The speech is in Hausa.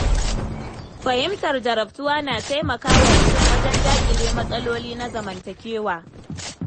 Fahimtar jarabtuwa na taimakawa mutum wajen daƙile matsaloli na zamantakewa.